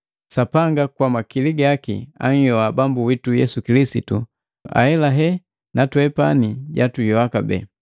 Sapanga kwa makili gaki anhyoha Bambu witu Yesu Kilisitu, ahelahe natwepani jatuyoa kabee.